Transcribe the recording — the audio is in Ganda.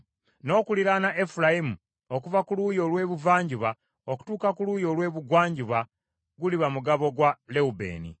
N’okuliraana Efulayimu okuva ku luuyi olw’ebuvanjuba okutuuka ku luuyi olw’ebugwanjuba guliba mugabo gwa Lewubeeni.